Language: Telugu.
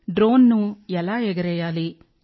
డ్రోన్ ను ఎలా ఎగరేయాలి